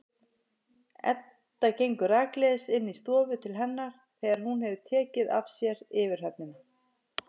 Edda gengur rakleiðis inn í stofu til hennar þegar hún hefur tekið af sér yfirhöfnina.